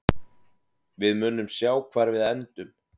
Við munum sjá hvar við endum.